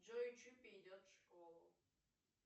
джой чупи идет в школу